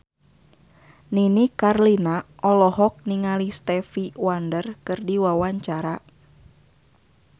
Nini Carlina olohok ningali Stevie Wonder keur diwawancara